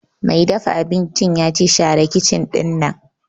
Mai dafa abincin ya ce 'Share kicin ɗinnan'!